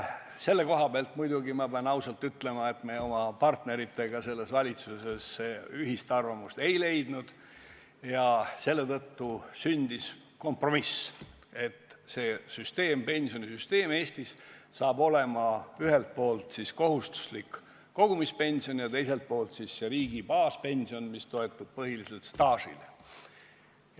Selle koha pealt, ma pean ausalt ütlema, me oma partneritega selles valitsuses ühist arvamust ei leidnud ja nii sündis kompromiss, et pensionisüsteem hakkab arvestama ühelt poolt kohustuslikku kogumispensioni ja teiselt poolt riigi baaspensioni, mis toetub põhiliselt staažile.